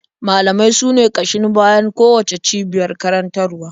Malamai sune ƙashin bayan kowacce cibiyar karantarwa.